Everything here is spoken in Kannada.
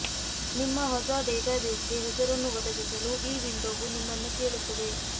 ನಿಮ್ಮ ಹೊಸ ಡೇಟಾಬೇಸ್ಗೆ ಹೆಸರನ್ನು ಒದಗಿಸಲು ಈ ವಿಂಡೋವು ನಿಮ್ಮನ್ನು ಕೇಳುತ್ತದೆ